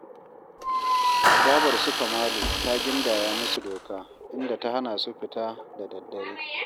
Babar su Kamalu ta gindaya musu doka, inda ta hana su fita da daddare